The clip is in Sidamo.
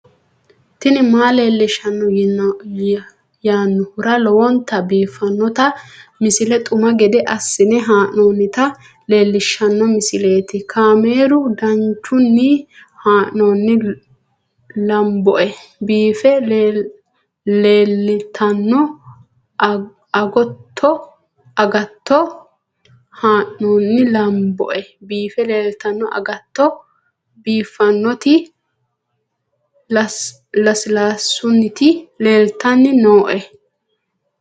tini maa leelishshanno yaannohura lowonta biiffanota misile xuma gede assine haa'noonnita leellishshanno misileeti kaameru danchunni haa'noonni lamboe biiffe leeeltanno agatto biiffannoti lasilaasssunniti leeltanni nooe